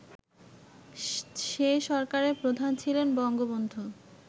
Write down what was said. সে সরকারের প্রধান ছিলেন বঙ্গবন্ধু